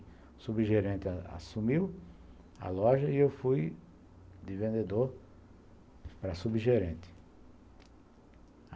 O subgerente assumiu a loja e eu fui de vendedor para subgerente.